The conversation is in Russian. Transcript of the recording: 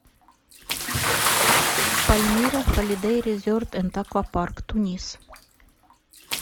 пальмира холидей резорт энд аквапарк тунис